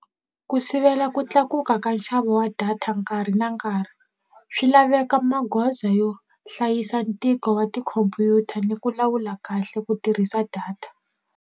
Ku sivela ku tlakuka ka nxavo wa data nkarhi na nkarhi swi laveka magoza yo hlayisa ntiko wa tikhompyuta ni ku lawula kahle ku tirhisa data.